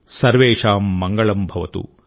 సర్వేషాం మంగళం భవతు